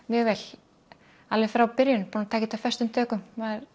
mjög vel alveg frá byrjun tekið þetta föstum tökum